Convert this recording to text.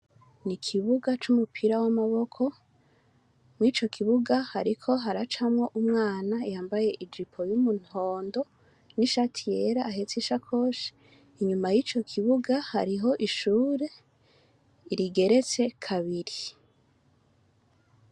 Ni ikibuga c'umupira w'amaboko mwico kibuga hariko haracamwo umwana yambaye ij ipo y'umuntondo n'ishati yera ahetse ishakoshi inyuma y'ico kibuga hariho ishure irigeretse kabiri.